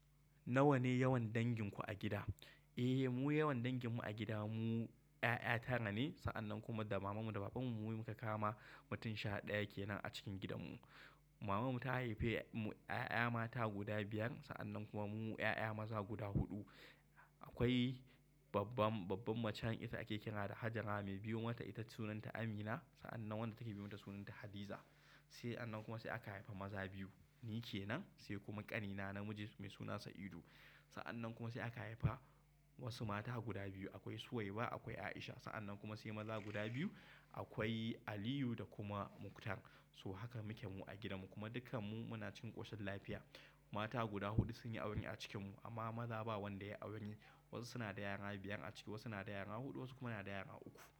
Nawa ne yawan danginku a gida? Eh, mu yawan danginmu a gida mu ƴaƴa tara ne. Sa'annan kuma da mamanmu da babanmu, mu muka kama, mutum sha ɗaya ke nan a cikin gidanmu. Mamanmu ta haife mu ƴaƴa mata guda biyar, sa'annan kuma munmu ƴaƴa maza guda huɗu. Akwai babban, babban macen ita ake kira da Hajara. Mai biyo mata ita sunanta Amina. Sa'annan wadda take biyo mata sunanta Hadiza. Sa'anan kuma sai aka haifi maza biyu. Ni ke nan, sai kuma ƙanina namiji mai suna Sa'idu. Sa'annan kuma sai aka haifa wasu mata guda biyu. Akwai Suwaiba, akwai Aisha. Sa'annan kuma sai maza guda biyu. Akwai Aliyu da kuma Muktar. Toh haka muke mu a gidanmu kuma dukkanmu muna cikin ƙoshin lafiya. Mata guda huɗu sun yi aure a cikinmu, amma maza ba wanda ya yi aure. Wasu suna da yara biyan a ciki, wasu na da yara huɗu, wasu kuma na da yara uku.